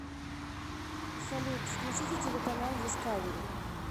салют включите телеканал дискавери